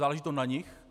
Záleží to na nich.